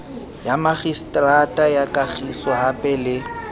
ya makgiseterata ya kagisohape le